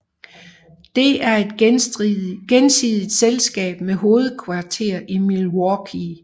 Det er et gensidigt selskab med hovedkvarter i Milwaukee